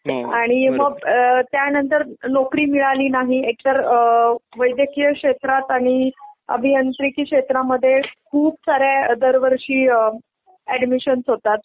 मग त्यानंतर नोकरी मिळाली नाही एक तर वैद्यकीय शेत्रात आणि अभियांत्रिकी क्षेत्रामध्ये खूप सारे दरवर्षी ॲडमिशनस होतात.